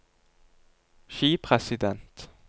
skipresident